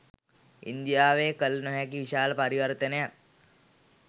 ඉන්දියාවේ කළ නොහැකි විශාල පරිවර්තනයක්